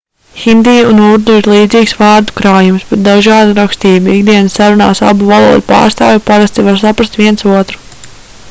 hindi un urdu ir līdzīgs vārdu krājums bet dažāda rakstība ikdienas sarunās abu valodu pārstāvji parasti var saprast viens otru